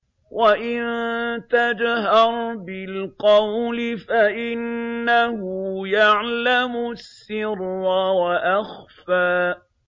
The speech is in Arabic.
وَإِن تَجْهَرْ بِالْقَوْلِ فَإِنَّهُ يَعْلَمُ السِّرَّ وَأَخْفَى